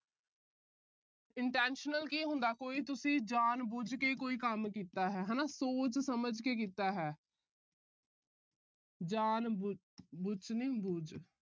intentional ਕੀ ਹੁੰਦਾ ਹੈ, ਕੋਈ ਤੁਸੀਂ ਜਾਣ ਬੁਝ ਕੇ ਕੋਈ ਕੰਮ ਕੀਤਾ ਹੈ, ਹਨਾ ਸੋਚ ਸਮਝ ਕੇ ਕੀਤਾ ਹੈ। ਜਾਣ ਬੁਚ ਨੀ ਬੁਝ